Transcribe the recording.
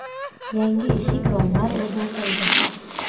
Yangi eshik-romlar o‘rnatildi.